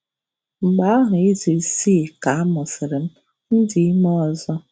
Mgbe ahụ izu isii ka a mụsịrị m, m dị ime ọzọ.